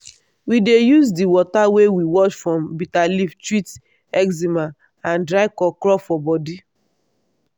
we dey use di water wey we wash from bitter leaf treat eczema and dry crawcraw for body.